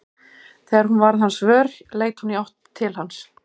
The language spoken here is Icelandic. Þegar hún varð hans vör leit hún í átt til hans.